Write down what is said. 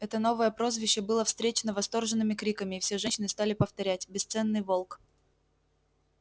это новое прозвище было встречено восторженными криками и все женщины стали повторять бесценный волк